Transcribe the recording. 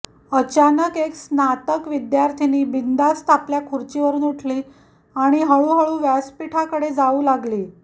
अचानक एक स्नातक विद्यार्थिनी बिना दास आपल्या खुर्चीवरून उठली आणि हळूहळू व्यासपीठाकडे जाऊ लागली